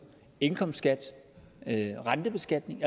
indkomstskat rentebeskatning